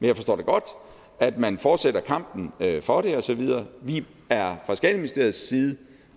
jeg forstår da godt at man fortsætter kampen for det og så videre vi er fra skatteministeriets side